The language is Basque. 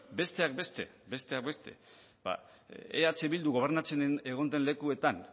besteak beste besteak beste eh bildu gobernatzen egon den lekuetan